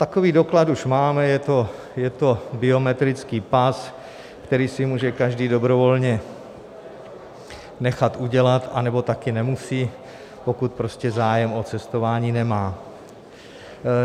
Takový doklad už máme, je to biometrický pas, který si může každý dobrovolně nechat udělat, anebo také nemusí, pokud prostě zájem o cestování nemá.